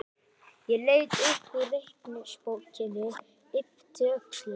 Ég leit upp úr reikningsbókinni, yppti öxlum.